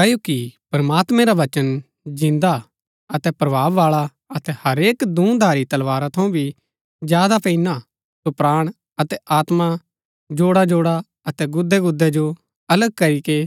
क्ओकि प्रमात्मैं रा वचन जिन्दा अतै प्रभाव बाळा अतै हरेक दूँ धारी तलवारा थऊँ भी ज्यादा पेईना हा सो प्राण अतै आत्मा जोड़ाजोड़ा अतै गुदै गुदै जो अलग करीके